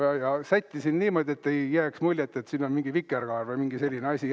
Ja ma sättisin niimoodi, et ei jääks muljet, et siin on mingi vikerkaar või mingi selline asi.